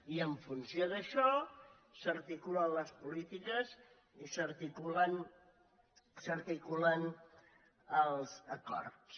i en funció d’això s’arti·culen les polítiques i s’articulen els acords